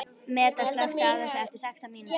Meda, slökktu á þessu eftir sextán mínútur.